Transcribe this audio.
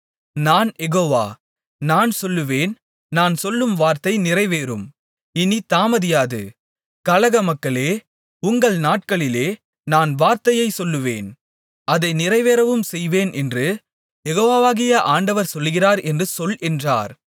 நான் யெகோவா நான் சொல்லுவேன் நான் சொல்லும் வார்த்தை நிறைவேறும் இனித் தாமதியாது கலகமக்களே உங்கள் நாட்களிலே நான் வார்த்தையைச் சொல்லுவேன் அதை நிறைவேறவும் செய்வேன் என்று யெகோவாகிய ஆண்டவர் சொல்லுகிறார் என்று சொல் என்றார்